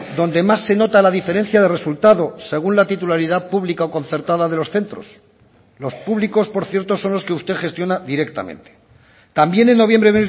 donde más se nota la diferencia de resultados según la titularidad pública o concertada de los centros los públicos por cierto son los que usted gestiona directamente también en noviembre